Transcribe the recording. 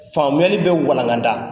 Faamuyali bɛ walangada